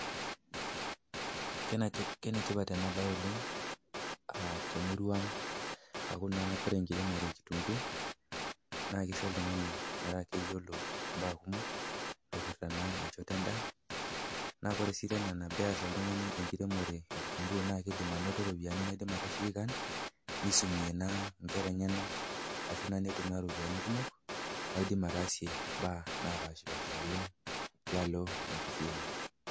Kenetipat ena bae oleng temurua, aku naa ore enkiremore ekitunguu naa keisho oltung'ani metaa keyolo mbaa kumok naipirta enchoto endaa. Naa ore sii tena tene eas oltung'ani enkiremore e kitunguu naa eidim ainoto iropiani, neidim aitasheki kaan nisumie naa inkera enyena naidim aitumia iropiani kumok ataasie imbaa naapaashipaasha oleng tialo enkishui.